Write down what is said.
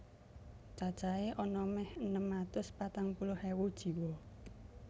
Cacahé ana mèh enem atus patang puluh ewu jiwa